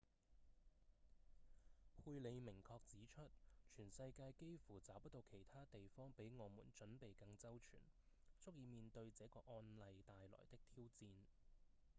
佩里明確指出：「全世界幾乎找不到其他地方比我們準備更周全足以面對這個案例帶來的挑戰」